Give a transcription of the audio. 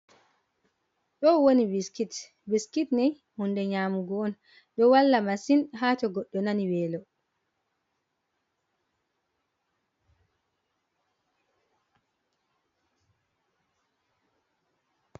Ɗoo woni "biskit, biskit" nii huunde nyaamugo on, ɗo walla masin ha to goɗɗo nani weelo.